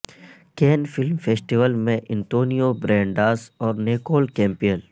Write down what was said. can film festival میں Antonio Banderas اور Nicole Campbell